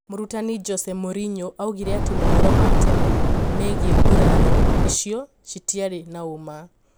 Mũrutani Jose Mourinho augire ati mohoro ma tene migie nguraro iyo citiari na uma